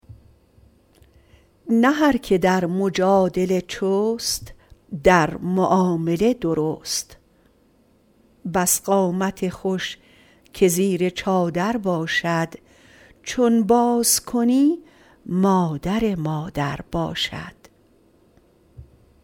نه هر که در مجادله چست در معامله درست بس قامت خوش که زیر چادر باشد چون باز کنی مادر مادر باشد